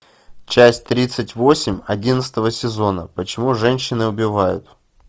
часть тридцать восемь одиннадцатого сезона почему женщины убивают